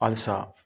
Halisa